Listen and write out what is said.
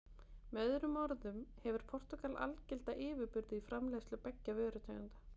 Með öðrum orðum hefur Portúgal algilda yfirburði í framleiðslu beggja vörutegunda.